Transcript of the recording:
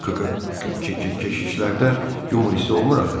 K-k-k-keşişlərdə yumor hissi olmur axı.